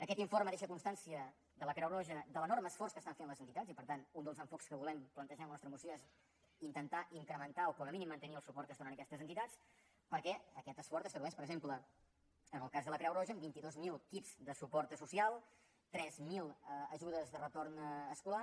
aquest informe deixa constància de la creu roja de l’enorme esforç que estan fent les entitats i per tant un dels enfocaments que volem plantejar en la nostra moció és intentar incrementar o com a mínim mantenir el suport que es dóna a aquestes entitats perquè aquest esforç es tradueix per exemple en el cas de la creu roja en vint dos mil kits de suport social tres mil ajudes de retorn escolar